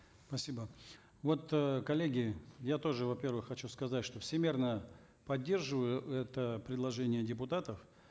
спасибо вот э коллеги я тоже во первых хочу сказать что всемерно поддерживаю это предложение депутатов